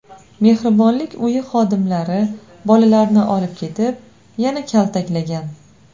Mehribonlik uyi xodimlari bolalarni olib ketib, yana kaltaklagan.